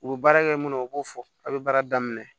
U bɛ baara kɛ minnu u b'o fɔ a' bɛ baara daminɛ